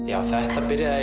já þetta byrjaði